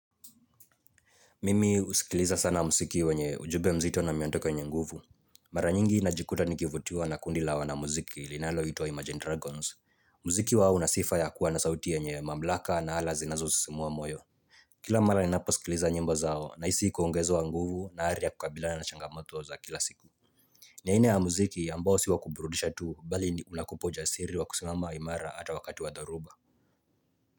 Mimi usikiliza sana mziki wenye ujumbe mzito na miondoko yenye nguvu. Mara nyingi najikuta nikivutiwa na kundi la wanamuziki linaloitwa Imagine Dragons. Mziki wao una sifa ya kuwa na sauti yenye mamlaka na hala zinazosisimua moyo. Kila mara ninaaposikiliza nyimbo zao nahisi kuongezwa nguvu na ari ya kukabilana na changamoto za kila siku. Ni aina ya mziki ambao si wa kuburudisha tu bali ni inakupa ujasiri wa kusimama imara ata wakati wa dhoruba.